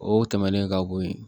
O tɛmɛnen ka bo yen